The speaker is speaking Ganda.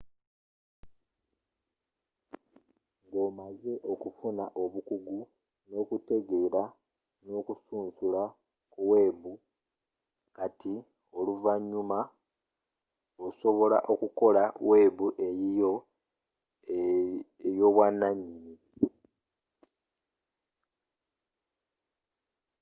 nga omaze okufuuka omukugu n'okutereeza n'okusunsula ku webu kati oluvanyuma osobola okukola webu eyiyo ey'obwananyini